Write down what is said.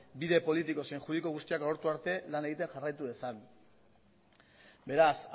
bide politiko zein juridiko guztiak agortu arte lan egiten jarraitu dezan beraz